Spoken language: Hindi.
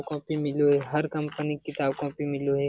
कॉपी मिलो हेय हर कंपनी के किताब कॉपी मिलों हेय।